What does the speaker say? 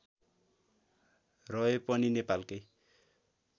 रहे पनि नेपालकै